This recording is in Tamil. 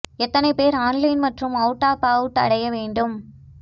எத்தனை பேர் ஆன்லைன் மற்றும் அவுட் ஆஃப் அவுட் அடைய வேண்டும்